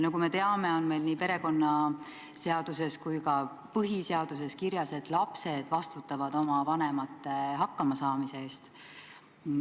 Nagu me teame, on meil nii perekonnaseaduses kui ka põhiseaduses kirjas, et lapsed vastutavad oma vanemate hakkamasaamise eest.